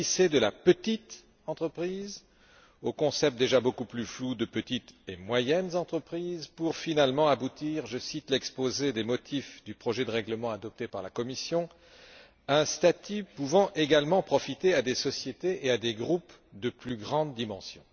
De la petite entreprise, on a glissé au concept déjà beaucoup plus flou de petites et moyennes entreprises, pour finalement aboutir je cite l'exposé des motifs du projet de règlement adopté par la Commission à un statut pouvant également profiter à des sociétés et à des groupes de plus grande dimension.